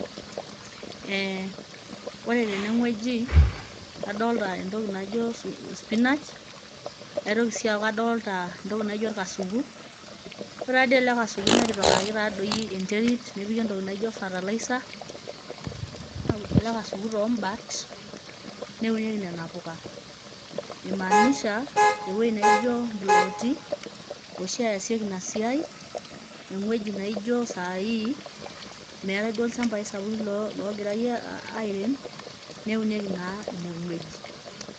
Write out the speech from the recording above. Oore teene wueji adolita entoki naijo spinach aitoki sii aaku adoolita entoki naijo orkasuku, oore taa doi eele kasuku netipikaki taa doi enterit, nepiki entoki naijo fertilizer neudi eele kasuku tombat neunieki neena puka. Imaanisha ewueji nijo impulooti oshi easieki iina siai, ewueji naa ijo saa hii meetae duo ilchambai sapuki logirae airem, neunieki naa iine wueji.